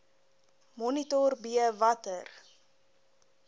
monitor b watter